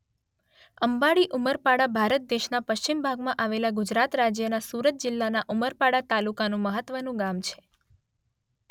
અંબાડી ઉમરપાડા ભારત દેશના પશ્ચિમ ભાગમાં આવેલા ગુજરાત રાજ્યના સુરત જિલ્લાના ઉમરપાડા તાલુકાનું મહત્વનું ગામ છે.